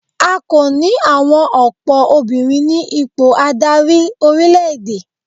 A kò ní àwọn ọ̀pọ̀ obìnrin ní ipò adarí orílẹ̀-èdè.